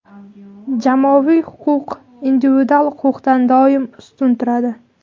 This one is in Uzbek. Jamoaviy huquq individual huquqdan doimo ustun turadi.